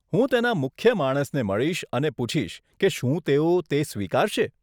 હું તેના મુખ્ય માણસને મળીશ અને પૂછીશ કે શું તેઓ તે સ્વીકારશે.